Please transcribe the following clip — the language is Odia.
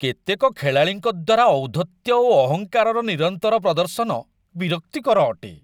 କେତେକ ଖେଳାଳିଙ୍କ ଦ୍ୱାରା ଔଦ୍ଧତ୍ୟ ଓ ଅହଙ୍କାରର ନିରନ୍ତର ପ୍ରଦର୍ଶନ ବିରକ୍ତିକର ଅଟେ।